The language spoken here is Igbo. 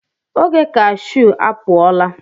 Oge cashew apụ ọ la.